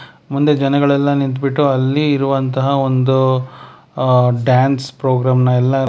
ಮುಂದೆ ಜನಗಳೆಲ್ಲ ನಿಂತ್ ಬಿಟ್ಟು ಇಲ್ಲಿ ಇರುವಂತಹ ಒಂದು ಆ ಡ್ಯಾನ್ಸ್ ಪ್ರೋಗ್ರಾಮ್ ನ ಎಲ್ಲಾ--